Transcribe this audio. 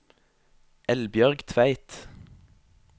Eldbjørg Tveit